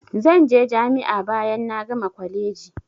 Zan je jami'a bayan na gama kwaleji.